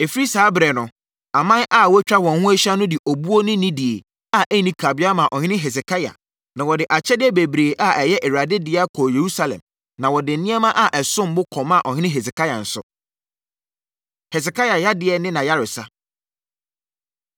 Ɛfiri saa ɛberɛ no, aman a atwa wɔn ho ahyia no de obuo ne anidie a ɛnni kabea maa ɔhene Hesekia, na wɔde akyɛdeɛ bebree a ɛyɛ Awurade dea kɔɔ Yerusalem, na wɔde nneɛma a ɛsom bo kɔmaa Ɔhene Hesekia nso. Hesekia Yadeɛ Ne Nʼayaresa